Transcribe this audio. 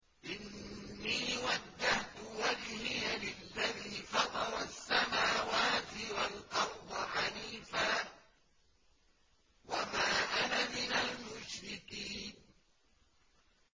إِنِّي وَجَّهْتُ وَجْهِيَ لِلَّذِي فَطَرَ السَّمَاوَاتِ وَالْأَرْضَ حَنِيفًا ۖ وَمَا أَنَا مِنَ الْمُشْرِكِينَ